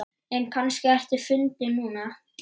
En kannski ertu fundin núna.